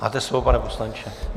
Máte slovo, pane poslanče.